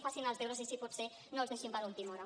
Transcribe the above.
facin els deures i si pot ser no els deixin per a última hora